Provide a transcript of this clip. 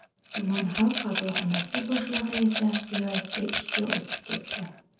Tuman Xalq qabulxonasi boshlig‘i esa viloyatga ishga o‘tib ketdi.